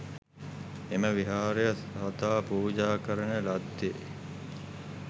එම විහාරය සාදා පූජා කරන ලද්දේ